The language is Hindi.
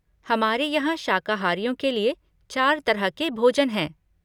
हमारे यहाँ शाकाहारियों के लिए चार तरह के भोजन हैं।